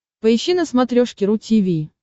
поищи на смотрешке ру ти ви